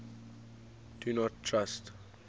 do not trust